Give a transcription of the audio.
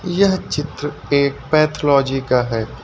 यह चित्र एक पैथोलॉजी का है।